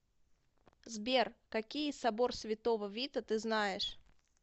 сбер какие собор святого вита ты знаешь